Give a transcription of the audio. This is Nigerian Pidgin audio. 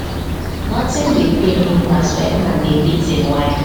notin dey pain me pass wen man dey beat im wife